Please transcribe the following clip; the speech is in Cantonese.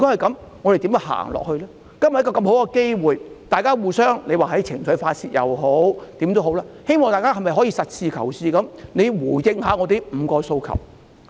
今天有這個大好機會，不論大家是互相發泄情緒或怎樣，政府可否以實事求是的態度回應我們的5項訴求？